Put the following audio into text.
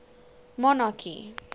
monarchy